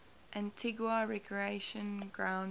antigua recreation ground thumb